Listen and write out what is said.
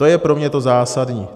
To je pro mě to zásadní.